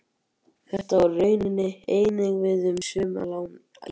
Þetta á raunar einnig við um sum lán í krónum.